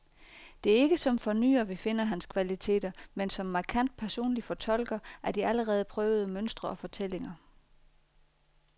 Det er ikke som fornyer, vi finder hans kvaliteter, men som markant personlig fortolker af de allerede prøvede mønstre og fortællinger.